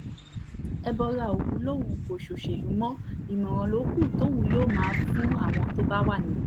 ẹbọra òwú lòun kò ṣòṣèlú mọ́ ìmọ̀ràn ló kù tóun yóò máa fún àwọn tó bá wà níbẹ̀